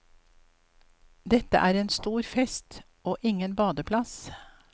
Dette er en stor fest og ingen badeplass.